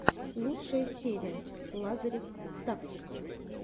лучшая серия лазарев тактикал